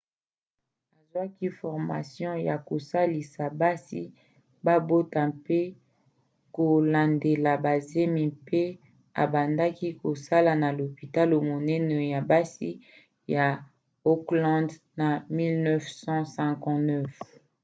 azwaki formation ya kosalisa basi babota pe kolandela bazemi mpe abandaki kosala na lopitalo monene ya basi ya auckland na 1959